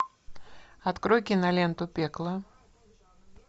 открой киноленту пекло